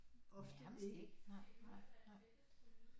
Ofte ikke